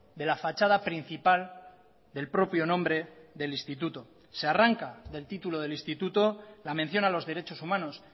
de la fachada principal del propio nombre del instituto se arranca del título del instituto la mención a los derechos humanos